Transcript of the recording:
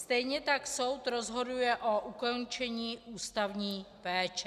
Stejně tak soud rozhoduje o ukončení ústavní péče.